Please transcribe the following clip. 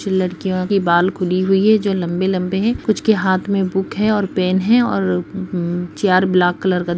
कुछ लड़कियों की बाल खुली हुई हैं जो लम्बे-लम्बे हैं कुछ के हाथ में बुक है और पेन है और ब्लैक का --